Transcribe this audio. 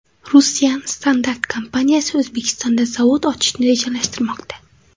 Russian Standart kompaniyasi O‘zbekistonda zavod ochishni rejalashtirmoqda.